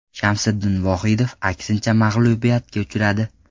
Shamsiddin Vohidov aksincha mag‘lubiyatga uchradi.